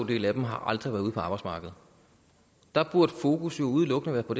del af dem har aldrig været ude på arbejdsmarkedet der burde fokus jo udelukkende være på